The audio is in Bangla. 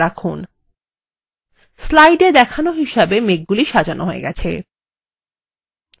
slide এ দেখানো আছে তেমনভাবে মেঘগুলি সাজানো হয়ে গেছে